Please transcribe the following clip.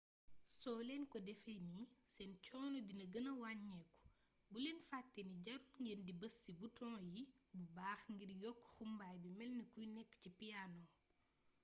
soo leen ko defee nii seen coono dina gëna waññeeku bul leen fatte ni jarul ngeen di bës ci bitoŋ yi bu baax ngir yokk xumbaay bi melni ku nekk ci piyaano